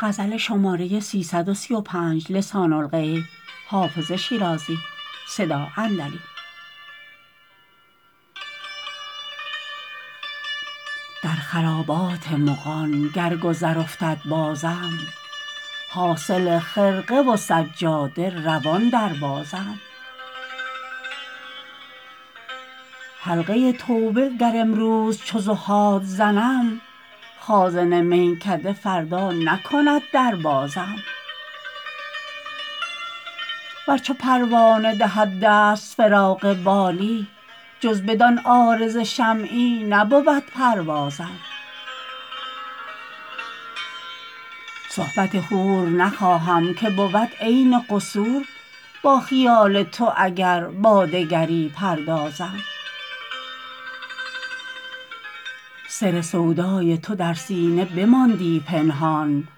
در خرابات مغان گر گذر افتد بازم حاصل خرقه و سجاده روان دربازم حلقه توبه گر امروز چو زهاد زنم خازن میکده فردا نکند در بازم ور چو پروانه دهد دست فراغ بالی جز بدان عارض شمعی نبود پروازم صحبت حور نخواهم که بود عین قصور با خیال تو اگر با دگری پردازم سر سودای تو در سینه بماندی پنهان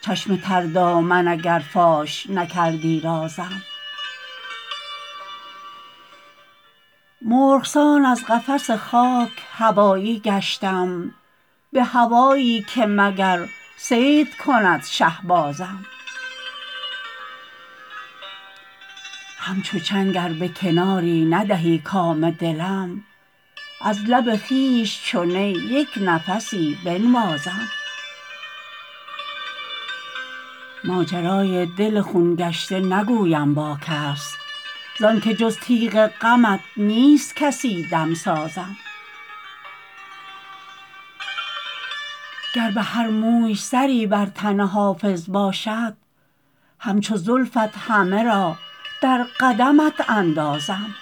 چشم تر دامن اگر فاش نکردی رازم مرغ سان از قفس خاک هوایی گشتم به هوایی که مگر صید کند شهبازم همچو چنگ ار به کناری ندهی کام دلم از لب خویش چو نی یک نفسی بنوازم ماجرای دل خون گشته نگویم با کس زان که جز تیغ غمت نیست کسی دمسازم گر به هر موی سری بر تن حافظ باشد همچو زلفت همه را در قدمت اندازم